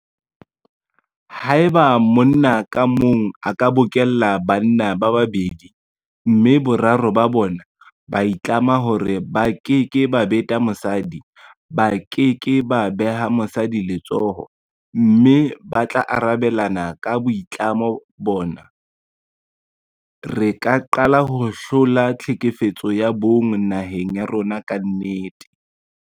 Haeba monna ka mong a ka bokella banna ba babedi mme boraro ba bona ba itlama hore ba keke ba beta mosadi, ba ke ke ba beha mosadi letsoho mme ba tla arabelana ka boitlamo bona, re ka qala ho hlola tlhekefetso ya bong naheng ya rona ka nnete.